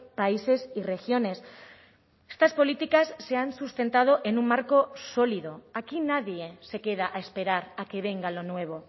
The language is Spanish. países y regiones estas políticas se han sustentado en un marco sólido aquí nadie se queda a esperar a que venga lo nuevo